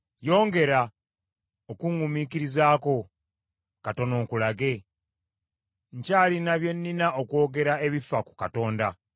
“Yongera okuŋŋumiikirizaako katono nkulage, nkyalina bye nnina okwogera ebifa ku Katonda.